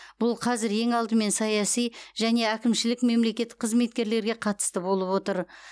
бұл қазір ең алдымен саяси және әкімшілік мемлекеттік қызметкерлерге қатысты болып отыр